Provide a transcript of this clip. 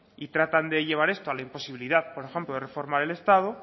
y tratan de llevar esto a la imposibilidad por ejemplo de reforma del estado